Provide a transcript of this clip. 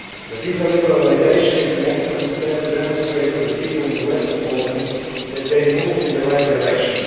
The visa liberalisation is an excellent step to demonstrate to the people in the western Balkans that they move in the right direction.